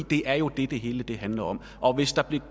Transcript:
det er jo det det hele handler om og hvis der blev